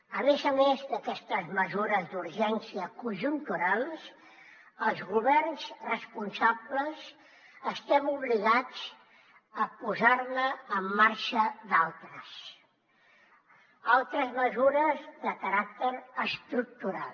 a més a més d’aquestes mesures d’urgència conjunturals els governs responsables estem obligats a posar ne en marxa d’altres altres mesures de caràcter estructural